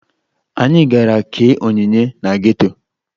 Anyị gara kee onyinye na geto